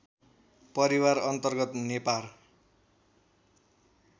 परिवार अन्तर्गत नेपार